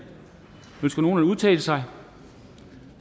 ønsker nogen at udtale sig